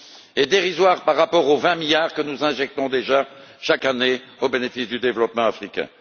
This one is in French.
Elle est dérisoire par rapport aux 20 milliards que nous injectons déjà chaque année au bénéfice du développement africain.